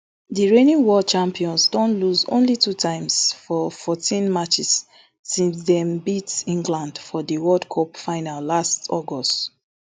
di reigning world champions don lose only two times for fourteen matches since dem beat england for di world cup final last august